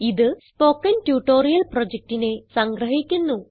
ഇത് spoken tutorial പ്രൊജക്റ്റിനെ സംഗ്രഹിക്കുന്നു